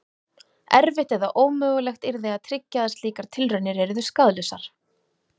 Erfitt eða ómögulegt yrði að tryggja að slíkar tilraunir yrðu skaðlausar.